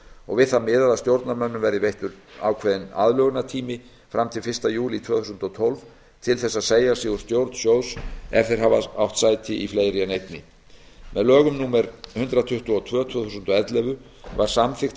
og við það miðað að stjórnarmönnum verði veittur ákveðinn aðlögunartími fram til fyrsta júlí tvö þúsund og tólf til þess að segja sig úr stjórn sjóðs ef þeir hafa átt sæti í fleiri en einni með lögum númer hundrað tuttugu og tvö tvö þúsund og ellefu var samþykkt að